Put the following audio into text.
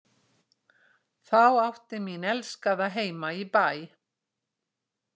Þá átti mín elskaða heima í Bæ.